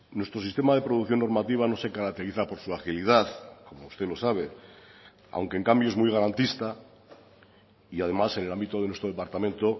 nuestro sistema de producción normativa no se caracteriza por su agilidad como usted lo sabe aunque en cambio es muy garantista y además en el ámbito de nuestro departamento